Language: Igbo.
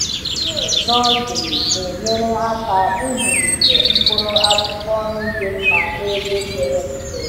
Tray nursery na-enyere aka ịzụlite mkpụrụ akwụkwọ nri dị mma n’ebe pere mpe.